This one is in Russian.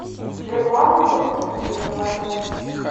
светланы евстигнеевой